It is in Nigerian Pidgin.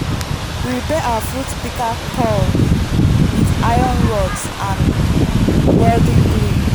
we repair our fruit pika cals with iron rods and welding glue